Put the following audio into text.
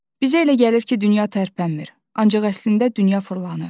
Bizə elə gəlir ki, dünya tərpənmir, ancaq əslində dünya fırlanır.